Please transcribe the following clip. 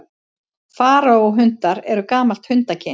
Faraó-hundar eru gamalt hundakyn.